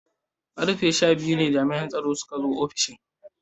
Karfe sha biyu ne jami'an tsaro suka zo ofishin.